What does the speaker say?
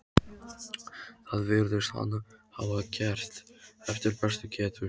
Það virðist hann hafa gert eftir bestu getu.